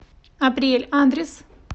апрель адрес